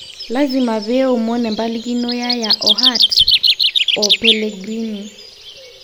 'Lasima pee eomon empalikino Yaya o Hart oPellegrini.